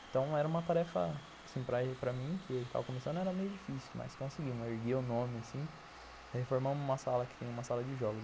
Então, era uma tarefa, assim, para mim, que tava começando, era meio difícil, mas conseguimos, ergui o nome, assim, reformamos uma sala que tem uma sala de jogos.